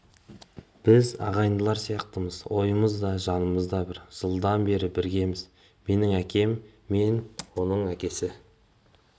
біз ағайындылар сияқтымыз ойымыз да жанымыз да бір жылдан бері біргеміз менің әкем мен оның әкесі